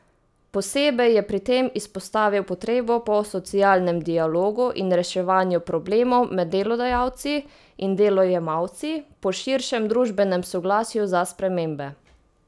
Posebej je pri tem izpostavil potrebo po socialnem dialogu in reševanju problemov med delodajalci in delojemalci, po širšem družbenem soglasju za spremembe.